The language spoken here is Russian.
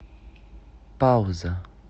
пауза